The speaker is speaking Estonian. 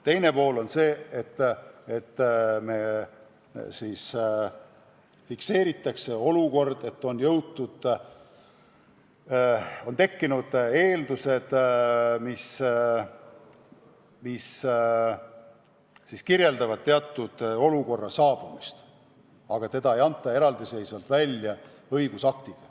Teine situatsioon on see, et fikseeritakse olukord, et on tekkinud teatud tingimused, aga seda ei fikseerita eraldiseisva õigusaktiga.